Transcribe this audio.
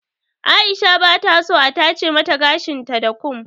Aisha bata so a tace mata gashin ta da kum.